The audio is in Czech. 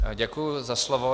Děkuji za slovo.